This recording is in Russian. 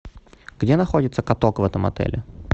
где находится каток в этом отеле